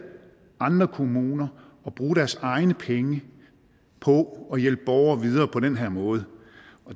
kommuner at bruge deres egne penge på at hjælpe borgere videre på den her måde